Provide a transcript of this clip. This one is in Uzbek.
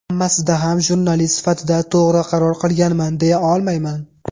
Hammasida ham jurnalist sifatida to‘g‘ri qaror qilganman, deya olmayman.